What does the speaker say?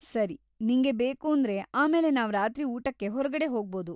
ಸರಿ, ನಿಂಗೆ ಬೇಕೂಂದ್ರೆ ಆಮೇಲೆ ನಾವ್‌ ರಾತ್ರಿ ಊಟಕ್ಕೆ ಹೊರ್ಗಡೆ ಹೋಗ್ಬಹುದು.